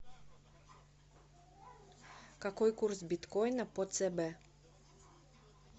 какой курс биткоина по цб